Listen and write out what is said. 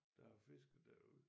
Der har fisket derude